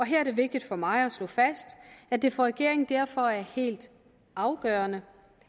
her er det vigtigt for mig at slå fast at det for regeringen derfor er helt afgørende